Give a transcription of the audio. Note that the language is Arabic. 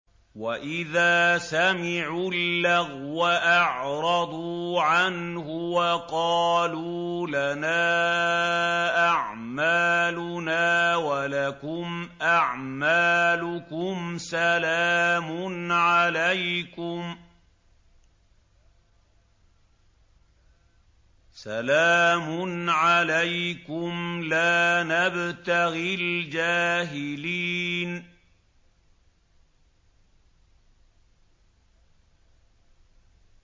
وَإِذَا سَمِعُوا اللَّغْوَ أَعْرَضُوا عَنْهُ وَقَالُوا لَنَا أَعْمَالُنَا وَلَكُمْ أَعْمَالُكُمْ سَلَامٌ عَلَيْكُمْ لَا نَبْتَغِي الْجَاهِلِينَ